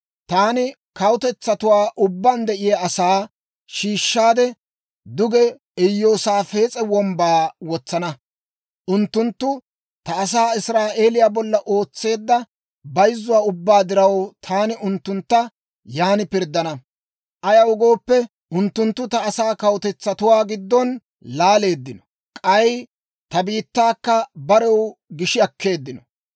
Taani kawutetsatuwaa ubbaan de'iyaa asaa shiishshaade, duge Iyoosaafes'a Wombbaa wotsana; unttunttu ta asaa Israa'eeliyaa bolla ootseedda bayzzuwaa ubbaa diraw, taani unttuntta yan pirddana. Ayaw gooppe, unttunttu ta asaa kawutetsatuwaa giddon laaleeddino; k'ay ta biittaakka barew gishi akkeeddino;